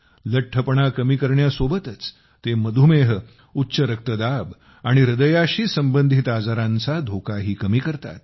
लठ्ठपणा कमी करण्यासोबतच ते मधुमेह उच्च रक्तदाब आणि हृदयाशी संबंधित आजारांचा धोकाही कमी करतात